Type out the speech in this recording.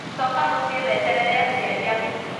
Coka mũciĩ weterere aciari aku